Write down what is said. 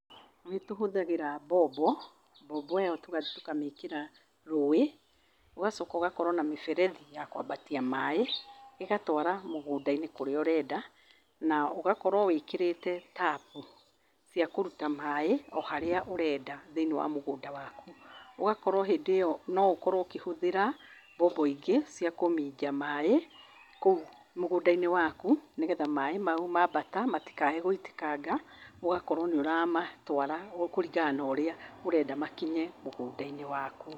Nĩtũhũthagĩra mbombo, mbombo ĩyo tũgathiĩ tũkamĩkĩra rũĩ, ũgacoka ũgakorwo na mĩberethi ya kwambatia maaĩ, ĩgatwara mũgũnda-inĩ kũrĩa ũrenda, na ũgakorwo wĩkĩrĩte tabu cia kũruta maĩ oharĩa ũrenda thĩinĩ wa mũgũnda waku. Ũgakorwo hĩndĩ ĩyo noũkorwo ũkĩhũthĩra mbombo ingĩ cia kũminja maaĩ kũu mũgũnda-inĩ waku, nĩgetha maaĩ mau mambata matikae gũitĩkanga, ũgakorwo nĩũramatwara kũringa na ũrĩa ũrenda makinye mũgũnda -inĩ waku.